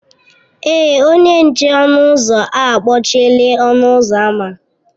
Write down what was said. Èé, onye nche ọnụ ụzọ a kpọchiela ọnụ ụzọ ámá.